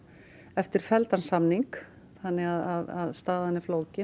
eftir felldan samning þannig að staðan er flókin